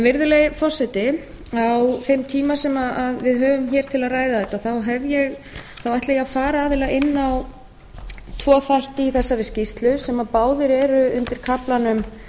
virðulegi forseti á þeim eiga sem við höfum hér til að ræða þetta ætla ég að fara aðallega inn á tvo þætti í þessari skýrslu sem báðir eru undir kaflanum